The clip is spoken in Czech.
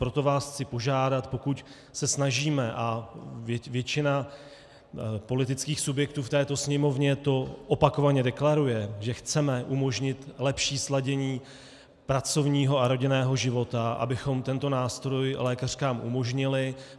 Proto vás chci požádat, pokud se snažíme, a většina politických subjektů v této Sněmovně to opakovaně deklaruje, že chceme umožnit lepší sladění pracovního a rodinného života, abychom tento nástroj lékařkám umožnili.